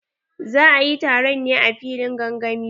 Za ayi taron ne a filin gangami?